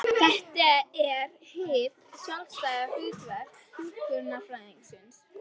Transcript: Þetta er hið sjálfstæða hlutverk hjúkrunarfræðingsins.